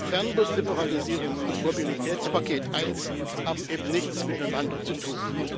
Fernbus Liberalisierung und Mobilitätspaket 1 haben eben nichts miteinander zu tun.